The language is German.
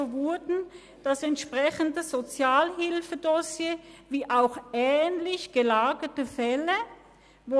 «So wurden das entsprechende Sozialhilfedossier wie auch ähnlich gelagerte Fälle […